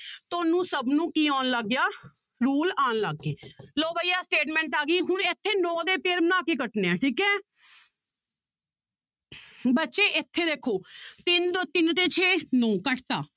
ਤੁਹਾਨੂੰ ਸਭ ਨੂੰ ਕੀ ਆਉਣ ਲੱਗ ਗਿਆ rule ਆਉਣ ਲੱਗ ਗਏ ਲਓ ਬਾਈ ਆਹ statement ਆ ਗਈ ਹੁਣ ਇੱਥੇ ਨੋਂ ਦੇ pair ਬਣਾ ਕੇ ਕੱਟਣੇ ਹੈ ਠੀਕ ਹੈ ਬੱਚੇ ਇੱਥੇ ਦੇਖੋ ਤਿੰਨ ਦੋ ਤਿੰਨ ਤੇ ਛੇ ਨੋਂ ਕੱਟ ਦਿੱਤਾ